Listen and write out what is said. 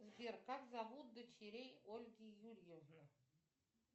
сбер как зовут дочерей ольги юрьевны